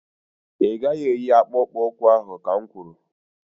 Ị gaghị eyi akpụkpu ụkwụ ahụ ka n kwuru!